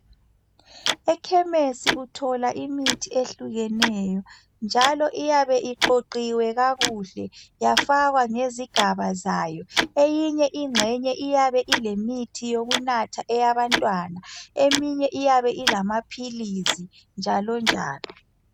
Ekhemesi uthola imithi ehlukeneyo njalo iyabe iqoqiwe kakuhle yafakwa ngezigaba zayo. Eyinye ingxenye iyabe ilemithi yokunatha eyabantwana eminye iyabe ilamaphilisi njalonjalo